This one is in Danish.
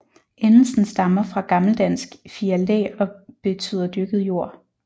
Endelsen stammer fra gammeldansk Fialdæ og beytder dyrket jord